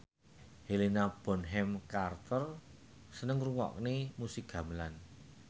Helena Bonham Carter seneng ngrungokne musik gamelan